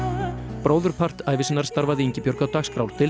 bróðurpart ævi sinnar starfaði Ingibjörg á dagskrárdeild